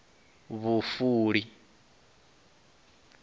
vhufuli